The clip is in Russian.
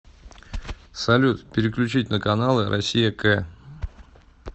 салют переключить на каналы россия к